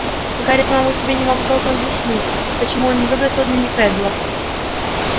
гарри самому себе не мог толком объяснить почему он не выбросил дневник реддела